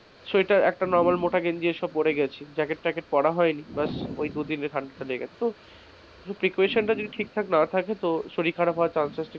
sweater একটা normal মোটা গেঞ্জি এসব পরে গেছি জ্যাকেট ট্যাকেট পড়া হয় ব্যাস ওই দুদিনে ঠান্ডাটা লেগে গিয়েছে, ওহ precaution তা ঠিকঠাক না থাকে তো শরীর খারাপ হওয়ার chances টা,